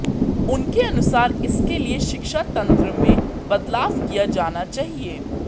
उनके अनुसार इसके लिए शिक्षा तंत्र में बदलाव किया जाना चाहिए